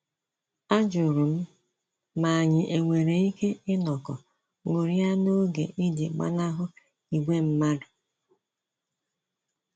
A jụrụ m ma anyị e nwere ike inọkọ ṅụrịa n'oge iji gbanahụ ìgwè mmadụ